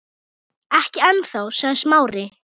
Ekki ennþá- sagði Smári.